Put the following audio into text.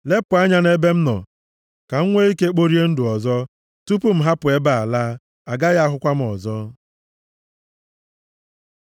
Lepụ anya na-ebe m nọ, ka m nwee ike kporie ndụ ọzọ, tupu m hapụ ebe a laa, a gaghị ahụkwa m ọzọ.”